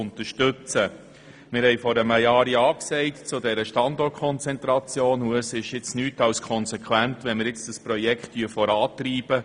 Vor einem Jahr sagten wir ja zur Standortkonzentration, und so ist es nur konsequent, wenn wir jetzt das Projekt vorantreiben.